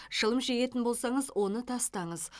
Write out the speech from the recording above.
шылым шегетін болсаңыз оны тастаңыз